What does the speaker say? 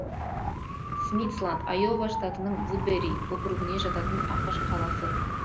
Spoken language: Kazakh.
смитсланд айова штатының вудбери округіне жататын ақш қаласы